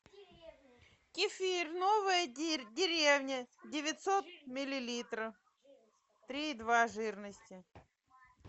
кефир новая деревня девятьсот миллилитров три и два жирности